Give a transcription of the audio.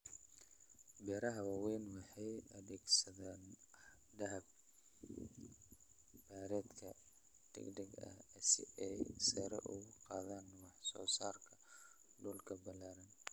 Beeraha waaweyni waxay adeegsadaan habab beereedka degdega ah si ay sare ugu qaadaan wax-soo-saarka dhulka ballaaran.